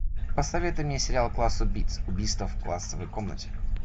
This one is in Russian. посоветуй мне сериал класс убийц убийство в классной комнате